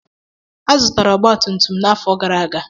A zụtara ọgbatumtum m n'afọ gara aga.